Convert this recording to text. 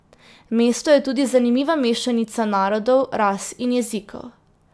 Mesto je tudi zanimiva mešanica narodov, ras in jezikov.